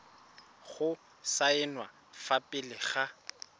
go saenwa fa pele ga